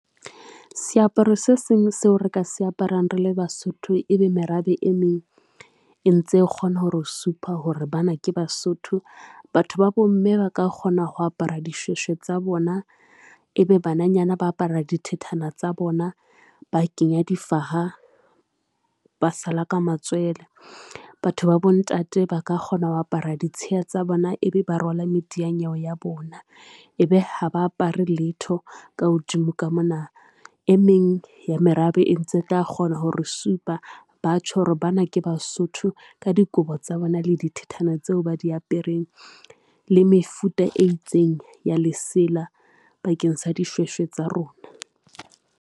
Seaparo se seng seo re ka se aparang rele Basotho ebe merabe e meng e ntse kgona hore o supa hore bana ke Basotho. Batho ba bomme ba ka kgona ho apara dishweshwe tsa bona e be bananyana ba apara dithethana tsa bona, ba kenya difaha, ba sala ka matswele, batho ba bontate ba ka kgona ho apara ditshiya tsa bona ebe ba rwala media nyewe ya bona e be ha ba apare letho ka hodimo ka mona. E meng ya merabe e ntse tla kgona hore supa ba tjho hore bana ke Basotho ka dikobo tsa bona, le dithethana tseo ba di apereng le mefuta e itseng ya lesela bakeng sa dishweshwe tsa rona.